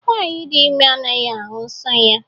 Nwanyị dị ime anaghị ahụ nsọ ya.